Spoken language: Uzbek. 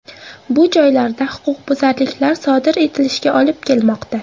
Bu joylarda huquqbuzarliklar sodir etilishiga olib kelmoqda.